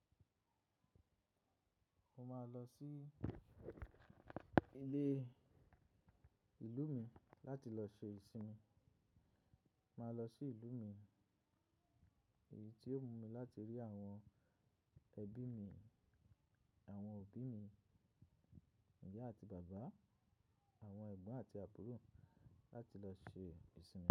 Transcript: Mo máa lọ sí ilé ìlú mi láti lọ ṣe ìsinmi. Màá lọ sí ìlú mi, èyí tí ó wù mí láti rí àwọn ẹbí mi, àwọn òbí mi, ìyá àti bàbá, àwọn ẹ̀gbọ́n àti àbúrò láti lọ ṣe ìsinmi.